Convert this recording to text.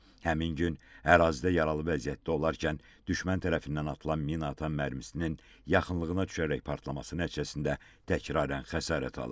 Həmin gün ərazidə yaralı vəziyyətdə olarkən düşmən tərəfindən atılan minaatan mərmisinin yaxınlığına düşərək partlaması nəticəsində təkraran xəsarət alıb.